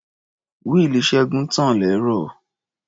Wíìlì Ṣẹ́gun tàn lẹ́rọ̀.